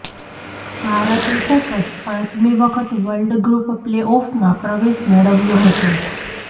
ભારતે સતત પાંચમી વખત વર્લ્ડ ગ્રુપ પ્લે ઓફમાં પ્રવેશ મેળવ્યો હતો